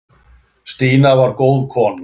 Stína var góð kona.